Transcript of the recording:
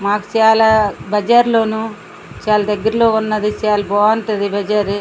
మాకు చాల బజారు లోను చాల దగర లోను వుంటది చాల బాగుంటది ఈ బజారి.